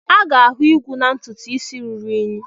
A ga-ahụ igwu na ntutu isi ruru unyi.